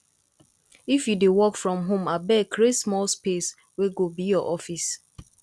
if you dey work from home abeg create small space wey go be your office